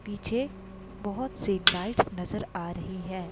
पीछे बहुत सी लाइट नजर आ रही हैं।